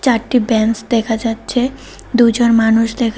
চারটি বেঞ্চ দেখা যাচ্ছে দুজন মানুষ দেখা--